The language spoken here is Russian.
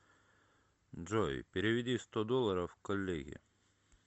джой переведи сто долларов коллеге